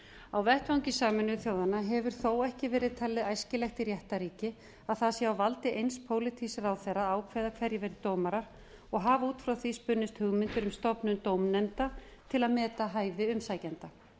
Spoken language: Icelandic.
á vettvangi sameinuðu þjóðanna hefur þó ekki verið talið æskilegt í réttarríki að það sé á valdi eins pólitísks ráðherra að ákveða hverjir verði dómarar og hafa út frá því spunnist hugmyndir um stofnun dómnefnda til að meta hæfi umsækjenda